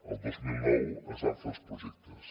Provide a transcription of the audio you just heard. el dos mil nou es van fer els projectes